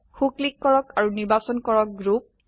so click কৰক আৰু নিৰ্বাচন কৰক গ্ৰুপ গ্ৰুপ